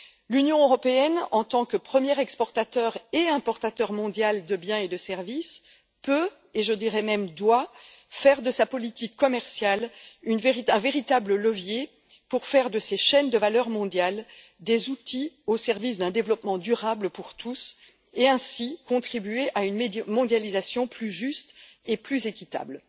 L'Union européenne, en tant que première exportatrice et importatrice mondiale de biens et de services peut et je dirais même doit faire de sa politique commerciale un véritable levier pour faire de ces chaînes de valeur mondiale des outils au service d'un développement durable pour tous et ainsi contribuer à une mondialisation plus juste et plus équitable.